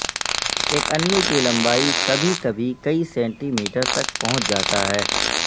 ایک انو کی لمبائی کبھی کبھی کئی سینٹی میٹر تک پہنچ جاتا ہے